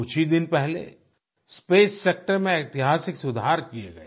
कुछ ही दिन पहले स्पेस सेक्टर में ऐतिहासिक सुधार किए गए